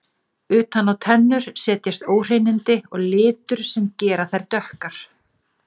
Utan á tennur setjast óhreinindi og litur sem gera þær dökkar.